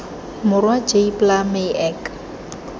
morwa jy pla my ek